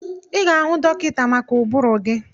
Ị ga-ahụ dọkịta maka ụbụrụ gị.